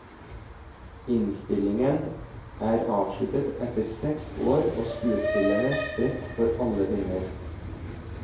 Innspillingen er avsluttet etter seks år og skuespillerne spredt for alle vinder.